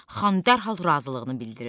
Xan dərhal razılığını bildirir.